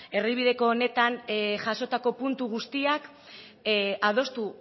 erdibideko honetan jasotako puntu guztiak adostu